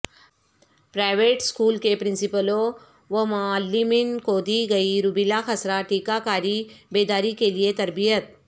private school کے پرنسپلوں ومعلمین کو دی گئی روبیلا خسرہ ٹیکہ کاری بیداری کیلئے تربیت